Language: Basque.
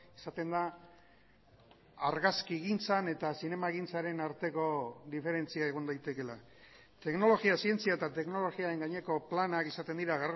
esaten da argazkigintzan eta zinemagintzaren arteko diferentzia egon daitekeela teknologia zientzia eta teknologiaren gaineko planak izaten dira